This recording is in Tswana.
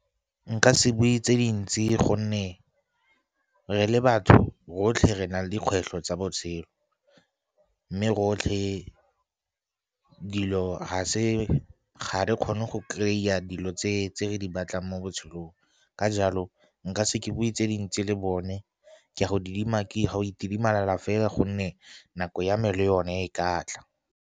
Nka se bue tse dintsi gonne re le batho rotlhe re na le dikgwetlho tsa botshelo, mme rotlhe dilo ha re kgone go kry-a dilo tse re di batlang mo botshelong, ka jalo nka se bue tse dintsi le bone, ke a go itidimalela fela gonne nako ya me le yone e ka tla.